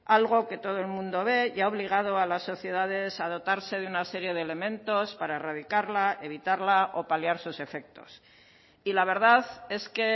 algo que todo el mundo ve y ha obligado a las sociedades a dotarse de una serie de elementos para erradicarla evitarla o paliar sus efectos y la verdad es que